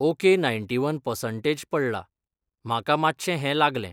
Okay ninety one percentage पडला, म्हाका मातशें हें लागलें.